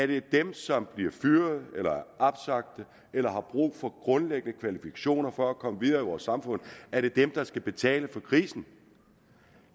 det er dem som bliver fyret eller opsagt eller har brug for grundlæggende kvalifikationer for at komme videre i vores samfund der skal betale for krisen